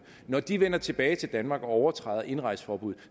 når de vender tilbage til danmark og overtræder indrejseforbuddet